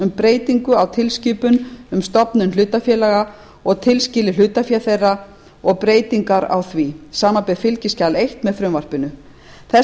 um breytingu á tilskipun um stofnun hlutafélaga og tilskilið hlutafé þeirra og breytingar á því samanber fylgiskjal eins með frumvarpinu þess